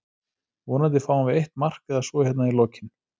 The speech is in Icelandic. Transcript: Vonandi fáum við eitt mark eða svo hérna í lokinn.